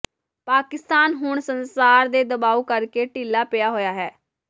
ਪਾਕਿਸਤਾਨ ਹੁਣ ਸੰਸਾਰ ਦੇ ਦਬਾਓ ਕਰਕੇ ਢਿੱਲਾ ਪਿਆ ਹੋਇਆ ਹੈ